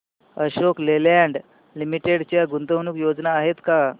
Ashok Leyland limited च्या गुंतवणूक योजना आहेत का